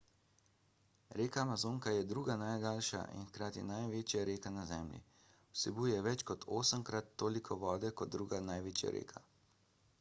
reka amazonka je druga najdaljša in hkrati največja reka na zemlji vsebuje več kot 8-krat toliko vode kot druga največja reka